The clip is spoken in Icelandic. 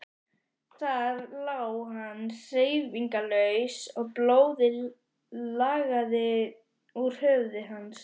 Þar lá hann hreyfingarlaus og blóðið lagaði úr höfði hans.